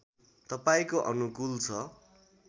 तपाईँको अनुकूल छ